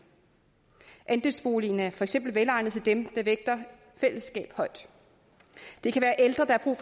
andelsboligen er for eksempel velegnet til dem der vægter fællesskab højt det kan være ældre der har